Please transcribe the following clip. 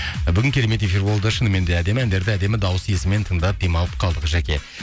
бүгін керемет эфир болды шыныменде әдемі әндерді әдемі дауыс иесімен тыңдап демалып қалдық жәке